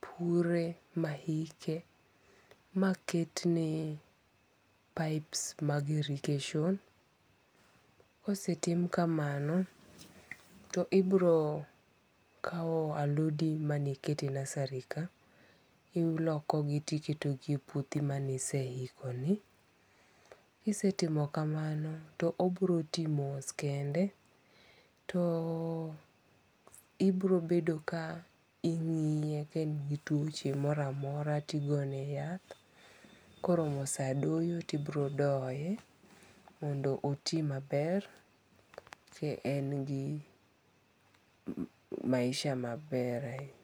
pure ma hike ma ket ne pipes mag irrigation. Kosetim kamano to ibiro kaw alodi mane ikete nursery ka iloko gi tiketo gi e puothi maniseiko ni. Kisetimo kamano to obiro ti mos kende. To ibiro bedo ka ing'iye ka en gi tuoche moro amora tigone yath. Koromo sa doyo to ibiro doye mondo oti ma ber. E ka en gi maisha maber ahinya.